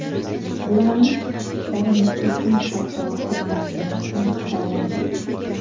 Ularning chiqishlari nufuzli xalqaro hay’at tomonidan baholandi.